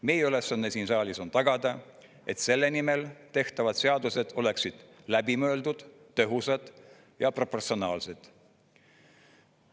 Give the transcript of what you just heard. Meie ülesanne siin saalis on tagada, et selle nimel tehtavad seadused oleksid läbi mõeldud, tõhusad ja proportsionaalsed.